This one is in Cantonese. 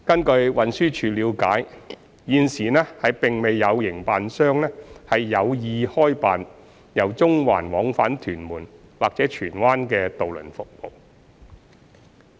據運輸署了解，現時並未有營辦商有意開辦由中環往返屯門或荃灣的渡輪服務。